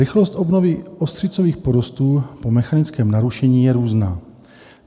Rychlost obnovy ostřicových porostů po mechanickém narušení je různá.